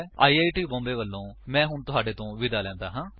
I I T Mumbai ਵਲੋਂ ਮੈਂ ਹੁਣ ਤੁਹਾਡੇ ਤੋਂ ਵਿਦਾ ਲੈਂਦਾ ਹਾਂ